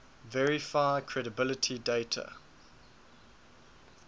verify credibility dater